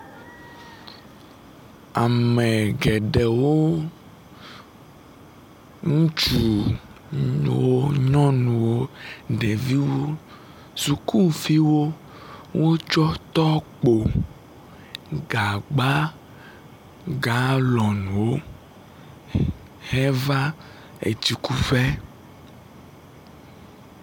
Ame geɖewo, ŋutsu, nyɔnuwo, ɖeviwo, sukuviwo wotsɔ tɔkpo, gagba, galɔnwo heva etsikuƒe.